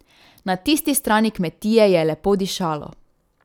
Na tisti strani kmetije je lepo dišalo.